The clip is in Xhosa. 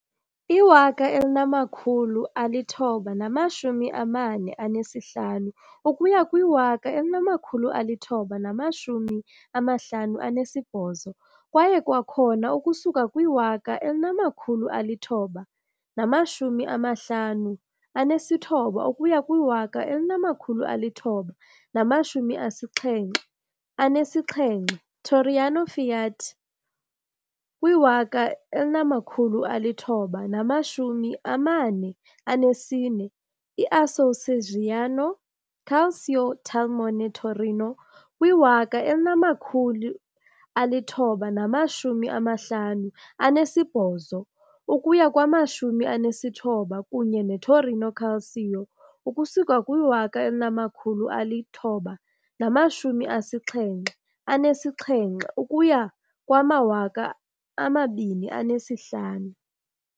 I-1945 ukuya kwi-1958 kwaye kwakhona ukusuka kwi-1959 ukuya kwi-1977, "iTorino FIAT" kwi-1944, "i-Associazione Calcio Talmone Torino" kwi-1958-59 kunye ne "-Torino Calcio" ukusuka kwi-1977 ukuya kwi-2005.